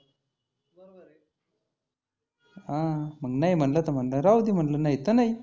हं मग नाही म्हटलं तर म्हटलं राहूदे नाही तर नाही.